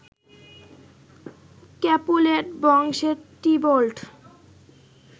Capulet বংশের Tybalt